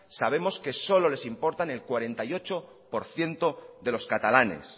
sabemos que solo les importa el cuarenta y ocho por ciento de los catalanes